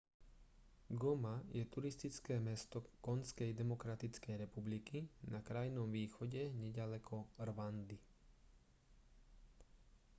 goma je turistické mesto konžskej demokratickej republiky na krajnom východe neďaleko rwandy